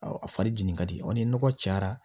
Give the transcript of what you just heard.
Awɔ a fari jeni ka di wa ni nɔgɔ cayara